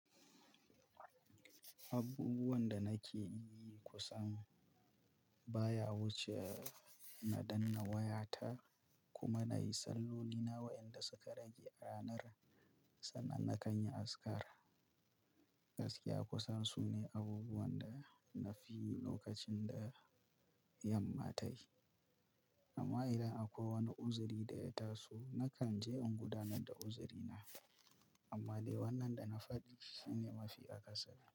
Abubuwan da nake yi kusan baya wuce na danna wayata kuma na yi salloli na wa'inda suka rage ranar sannan na kan yi azkar. Gaskiya kusan su ne abubuwan da na fi yi lokacin da yamma tayi. Amma idan akwai wani uziri da ya taso nakan je in gudanar da uzirina. Amma dai wannan da na faɗi shine mafi akasari.